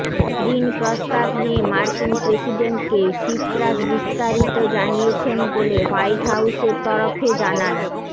ঋণ প্রস্তাব নিয়ে মার্কিন প্রেসিডেন্টকে সিপ্রাস বিস্তারিত জানিয়েছেন বলে হোয়াইট হাইসের তরফে জানানো